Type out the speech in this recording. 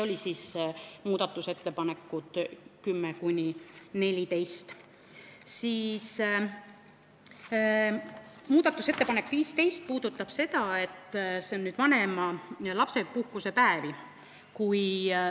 Järgmine muudatusettepanek puudutab lapsepuhkusepäevi.